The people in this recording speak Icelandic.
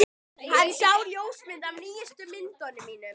Hann sá ljósmyndir af nýjustu myndunum mínum.